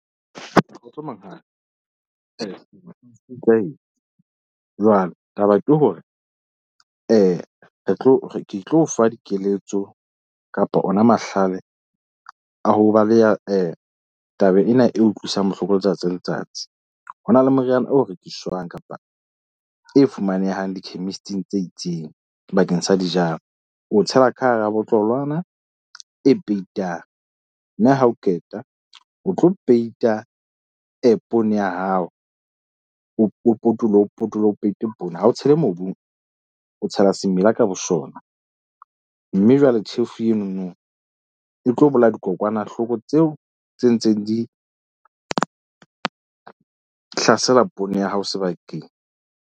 Kgotso monghadi jwale taba ke hore re tlo ke tlo o fa dikeletso kapa ona mahlale a ho balea taba ena e utlwisang bohloko letsatsi le letsatsi. Ho na le moriana oo rekiswang kapa e fumanehang di-chemist-ing tse itseng bakeng sa dijalo. O tshela ka hara botlolwana e peituwang mme ha o qeta, o tlo peita app-ong ya hao. O potoloha o potoloha o peite ha o tshele mobung o tshela semela ka bosona. Mme jwale tjhefu eno no e tlo bolaya dikokwanahloko tseo tse ntseng di hlasela poone ya hao sebakeng.